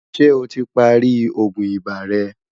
ṣé ọ tí pá rí ògún ibà rè?